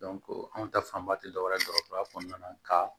anw ta fanba ti dɔwɛrɛ ye dɔgɔtɔrɔya kɔnɔna na ka